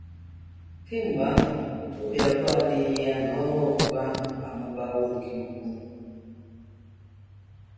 Kemgbe ahụ, obi abụọ adịghị ya na ọnụ ọgụgụ ahụ amụbawo nke ukwuu.